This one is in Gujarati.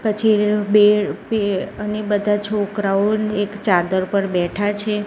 પછી બે બે અને બધા છોકરાઓને એક ચાદર પર બેઠા છે.